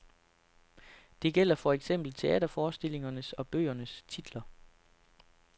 Det gælder for eksempel teaterforestillingers og bøgers titler.